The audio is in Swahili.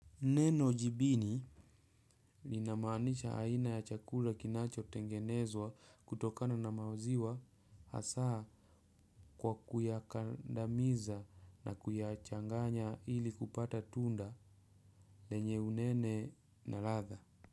Neno jibini linamaanisha aina ya chakula kinachotengenezwa kutokana na maziwa hasa kwa kuyakandamiza na kuyachanganya ili kupata tunda lenye unene na ladha.